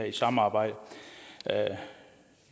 i samarbejde